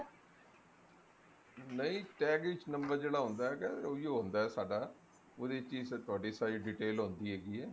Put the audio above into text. ਨਹੀਂ tag ਵਿੱਚ number ਜਿਹੜਾ ਹੁੰਦਾ ਹੈਗਾ ਉਹੀ ਓ ਹੁੰਦਾ ਸਾਡਾ ਉਹਦੇ ਵਿੱਚ ਹੀ ਤੁਹਾਡੀ ਸਾਰੀ detail ਹੁੰਦੀ ਹੈਗੀ ਐ